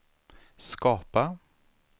skapa